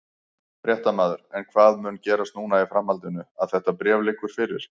Fréttamaður: En hvað mun gerast núna í framhaldinu að þetta bréf liggur fyrir?